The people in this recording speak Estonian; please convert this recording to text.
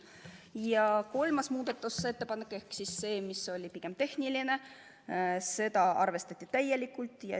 Ja kolmandat muudatusettepanekut ehk siis seda, mis oli pigem tehniline, arvestati täielikult.